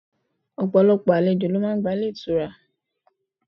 Ọ̀pọ̀lọpọ̀ àlejò ni o n gba Ilé itura